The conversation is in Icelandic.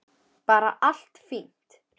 Bara allt fínt.